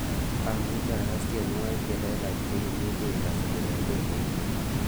amuche agas tienwogik chelelach che imuje igas koyop redio inguni